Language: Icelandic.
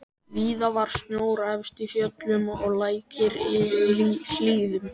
Víða var snjór efst í fjöllum og lækir í hlíðum.